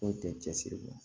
Foyi tɛ cɛsiri kɔ